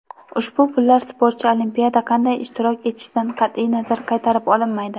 Ushbu pullar sportchi Olimpiyada qanday ishtirok etishidan qat’iy nazar qaytarib olinmaydi.